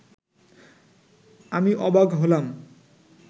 আমি অবাক হলাম